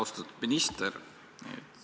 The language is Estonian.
Austatud minister!